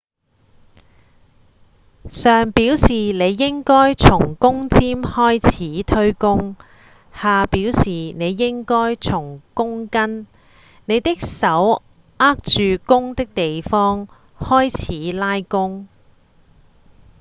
上表示您應該從弓尖開始推弓下表示您應該從弓根您的手握住弓的地方開始拉弓